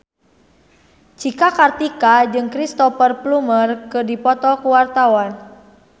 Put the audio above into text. Cika Kartika jeung Cristhoper Plumer keur dipoto ku wartawan